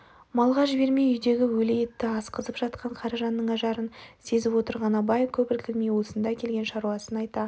малға жібермей үйдегі өлі етті асқызып жатқан қаражанның ажарын сезіп отырған абай көп іркілмей осында келген шаруасын айта